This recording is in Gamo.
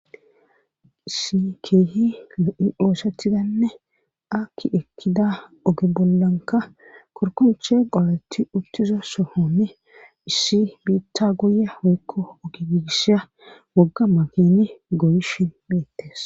issi keehi la7i oosetidanne akki ekkida oge bollanka korkonche qoletti uttizo sohonni issi biitta guye woykko oge giigissiya wogga makini goyishin beettes.